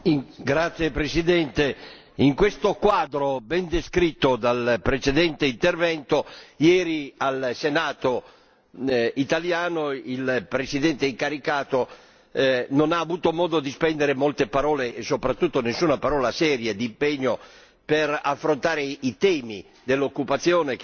Signor Presidente, onorevoli colleghi, in questo quadro ben descritto dal precedente intervento, ieri al Senato italiano il Presidente incaricato non ha avuto modo di spendere molte parole, e soprattutto nessuna parola seria, d'impegno per affrontare i temi dell'occupazione